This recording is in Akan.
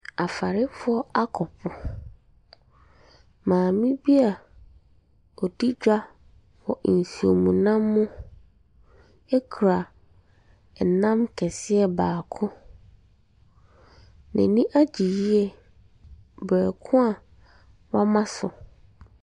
Afarefoɔ akɔ po. Maame bi a ɔdi dwa wɔ nsuomnam mu kura nnam kɛseɛ baako. N'ani agye yie berɛ ko a wɔama so.